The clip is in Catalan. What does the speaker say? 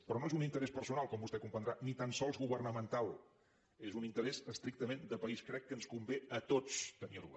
però no és un interès personal com vostè deu comprendre ni tan sols governamental és un interès estrictament de país crec que ens convé a tots tenir la